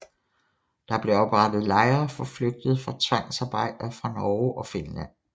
Der blev oprettet lejre for flygtede tvangsarbejdere fra Norge og Finland